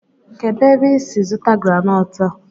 Kedụ ebe i si zụta granọt a?